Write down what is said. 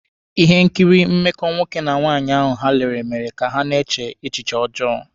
Ihe nkiri mmekọ nwoke na nwaanyị ahụ ha lere mere ka ha na-eche echiche ọjọọ.